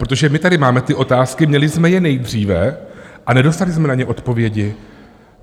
Protože my tady máme ty otázky, měli jsme je nejdříve a nedostali jsme na ně odpovědi.